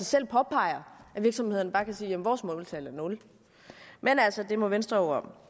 selv påpeger at virksomhederne bare kan sige jamen vores måltal er nul men det må venstre